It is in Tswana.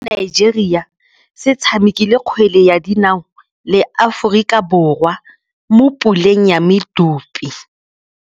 Setlhopha sa Nigeria se tshamekile kgwele ya dinaô le Aforika Borwa mo puleng ya medupe.